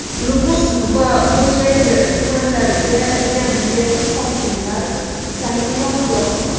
Nukus va Xo‘jayli tumanlariga yangi hokimlar tayinlandi.